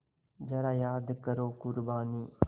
ज़रा याद करो क़ुरबानी